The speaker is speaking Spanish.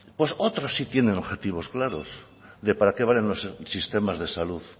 pues otros sí tienen objetivos claros de para qué valen los sistemas de salud